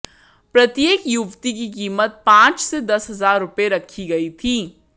प्रत्येक युवती की कीमत पांच से दस हजार रुपए रखी गई थी